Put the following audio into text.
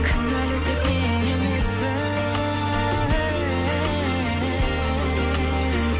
кінәлі тек мен емеспін